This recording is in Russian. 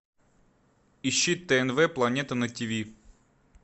ищи тнв планета на тиви